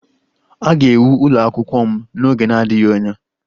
A ga-ewu ụlọ akwụkwọ m n'oge na-adịghị anya